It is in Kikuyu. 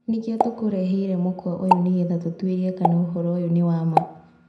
Nĩkio tũkureheire mũkwa ũyũ nĩgetha tũtuĩrie kana ũhoro ũyũ nĩ wa maa.